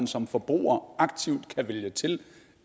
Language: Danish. som forbruger aktivt kan vælge til